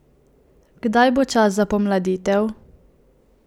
Kdaj bo čas za pomladitev?